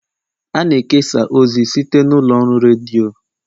a na-ekesa ozi site n'ụlọ ọrụ redio